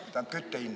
Pole vaja kütta ju.